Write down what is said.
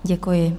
Děkuji.